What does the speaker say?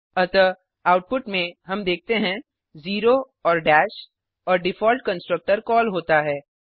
अतः आउटपुट में हम देखते हैं ज़ेरो और दश और डिफॉल्ट कंसट्रक्टर कॉल होता है